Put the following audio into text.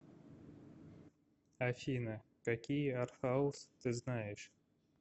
афина какие артхаус ты знаешь